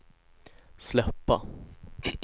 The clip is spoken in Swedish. släppa